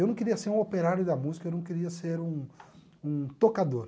Eu não queria ser um operário da música, eu não queria ser um um tocador.